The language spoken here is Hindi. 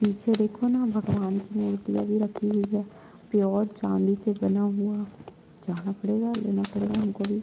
पीछे देखो ना भगवान की मूर्तिया भी रखी हुई है प्योर चाँदी से बना हुआ जाना पड़ेगा लेना पड़ेगा हमको भी--